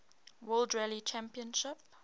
world rally championship